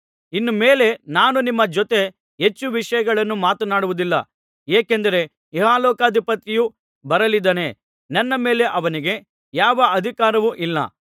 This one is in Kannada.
ಇನ್ನು ಮೇಲೆ ನಾನು ನಿಮ್ಮ ಜೊತೆ ಹೆಚ್ಚು ವಿಷಯಗಳನ್ನು ಮಾತನಾಡುವುದಿಲ್ಲ ಏಕೆಂದರೆ ಇಹಲೋಕಾಧಿಪತಿಯು ಬರಲಿದ್ದಾನೆ ನನ್ನ ಮೇಲೆ ಅವನಿಗೆ ಯಾವ ಅಧಿಕಾರವೂ ಇಲ್ಲ